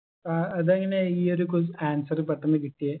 ആഹ് അതെങ്ങനെ ഈ ഒരു ques answer പെട്ടെന്ന് കിട്ടിയേ